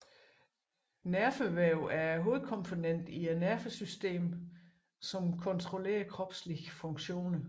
Nervevæv er hovedkomponenten i nervesystemet som kontrollerer kropslige funktioner